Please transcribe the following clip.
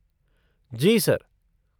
जी, sir.